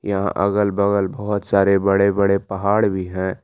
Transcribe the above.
यहां अगल बगल बहुत सारे बड़े बड़े पहाड़ भी हैं।